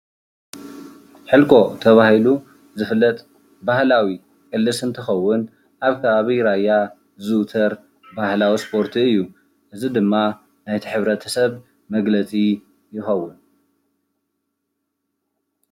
ሕልኮ ተባሂሉ ዝፍለጥ ባህላዊ ቅልስ እንትከዉን ኣብ ከባቢ ራያ ዝዝዉተር ባህላዊ እስፖርቲ እዩ፡፡ እዚ ድማ ናይቲ ሕብረተሰብ መግለፂ ይከዉን ፡፡